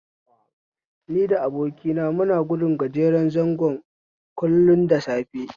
Ni da abokina muna gudun gajeren zango kullum da safe